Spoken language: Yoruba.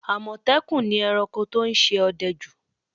Àmọ̀tẹ́kùn ni ẹranko tó ń ṣe ọdẹ jù